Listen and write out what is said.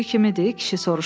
Kişi soruşdu.